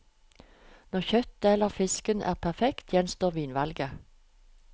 Når kjøttet eller fisken er perfekt, gjenstår vinvalget.